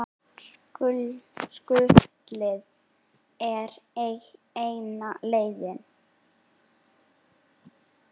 Skutlið er eina leiðin.